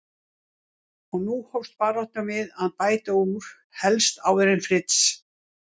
Og nú hófst baráttan við að bæta úr, helst áður en Fritz